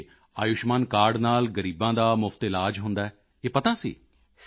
ਅਤੇ ਆਯੁਸ਼ਮਾਨ ਕਾਰਡ ਨਾਲ ਗ਼ਰੀਬਾਂ ਦਾ ਮੁਫ਼ਤ ਵਿੱਚ ਇਲਾਜ ਹੁੰਦਾ ਹੈ ਇਹ ਪਤਾ ਸੀ